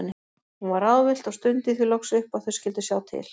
Hún var ráðvillt og stundi því loks upp að þau skyldu sjá til.